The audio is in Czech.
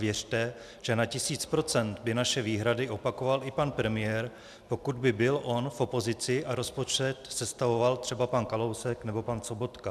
Věřte, že na tisíc procent by naše výhrady opakoval i pan premiér, pokud by byl on v opozici a rozpočet sestavoval třeba pan Kalousek nebo pan Sobotka.